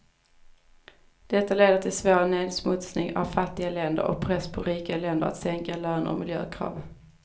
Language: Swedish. Detta leder till svår nedsmutsning av fattiga länder, och press på rika länder att sänka löner och miljökrav.